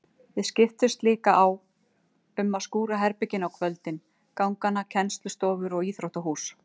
Við skiptumst líka á um að skúra herbergin á kvöldin, gangana, kennslustofur og íþróttahús.